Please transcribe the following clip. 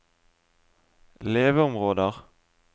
leveområder